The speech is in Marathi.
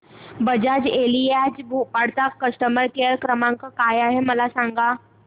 बजाज एलियांज भोपाळ चा कस्टमर केअर क्रमांक काय आहे मला सांगा